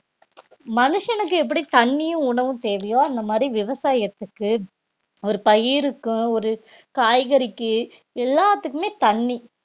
மனுஷனுக்கு எப்படி தண்ணியும் உணவும் தேவையோ அந்த மாதிரி விவசாயத்துக்கு ஒரு பயிருக்கும் ஒரு காய்கறிக்கு எல்லாத்துக்குமே தண்ணி